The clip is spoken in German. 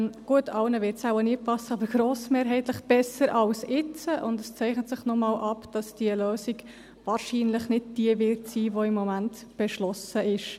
Gut, allen wird es nie passen, aber grossmehrheitlich besser als jetzt, und es zeichnet sich nochmals ab, dass die Lösung wahrscheinlich nicht die sein wird, die im Moment beschlossen ist.